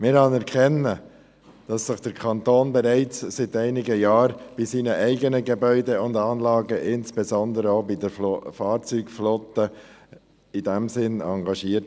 Wir anerkennen, dass sich der Kanton bereits seit einigen Jahren bei seinen eigenen Gebäuden und Anlagen, insbesondere auch bei den Fahrzeugflotten, in diesem Sinn engagiert.